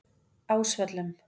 Ásvöllum